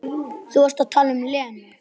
Þú varst að tala um Lenu.